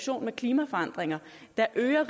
der er